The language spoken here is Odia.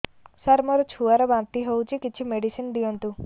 ସାର ମୋର ଛୁଆ ର ବାନ୍ତି ହଉଚି କିଛି ମେଡିସିନ ଦିଅନ୍ତୁ